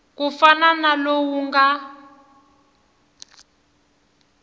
ku fana na lowu nga